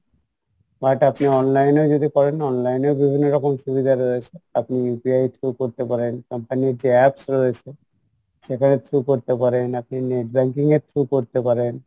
but আপনি online এও যদি করেন তো online এ বিভিন্ন রকম সুবিধা রয়েছে আপনি UPI through করতে পারেন company ইর যে apps রয়েছে সেটার through করতে পারেন আপনি net banking এর through করতে পারেন